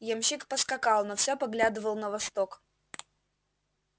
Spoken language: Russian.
ямщик поскакал но все поглядывал на восток